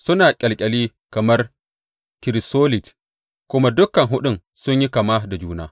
Suna ƙyalƙyali kamar kirisolit, kuma dukan huɗun sun yi kama da juna.